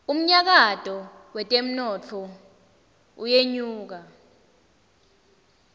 umnyakato wetemnotfo uyenyuka